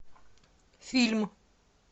фильм